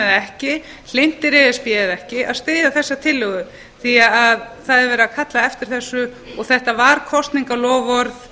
ekki hlynntir e s b eða ekki að styðja þessa tillögu því að það er verið að kalla eftir þessu þetta var kosningaloforð